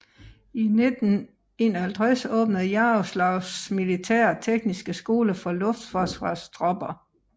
I 1951 åbnedes Jaroslavls militære tekniske skole for luftforsvarstropper